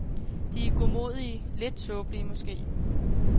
De er godmodige, lidt tåbelige måske.